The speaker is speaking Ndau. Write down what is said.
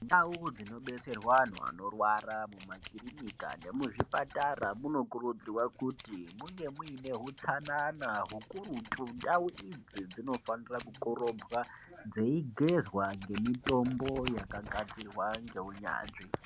Ndau dzinobetserwa antu anorwara makiriki nemuzvipatara munokurudzirwa kuti munge mune hutsanana ukurutu ndau idzi dzinofana kukorobwa dzeigezwa ngemitombo yakagadzirwa neunyanzvi.